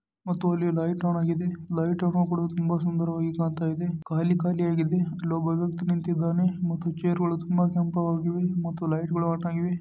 ಮತ್ತು ಅಲ್ಲಿ light on ಆಗಿದೆ ಲೈಟ್ಗ ಳು ಕೂಡ ತುಂಬಾ ಸುಂದರವಾಗಿ ಕಾಣ್ತಾ ಇದೆ ಖಾಲಿ ಖಾಲಿಯಾಗಿದೆ ಅಲ್ಲೊಬ್ಬ ವ್ಯಕ್ತಿ ನಿಂತಿದ್ದಾನೆ ಮತ್ತು ಚೇರ್ಗ ಳು ತುಂಬಾ ಕೆಂಪವಾಗಿವೆ ಮತ್ತು ಲೈಟ್ ಗಳು ಆನ್ ಆಗಿವೆ.